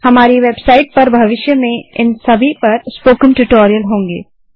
हमारी web site पर भविष्य में इन सभी पर स्पोकन ट्यूटोरियल होंगे